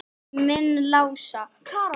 Minn Lása?